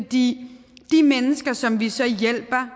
de mennesker som vi så hjælper